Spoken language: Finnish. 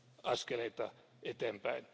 askeleita eteenpäin.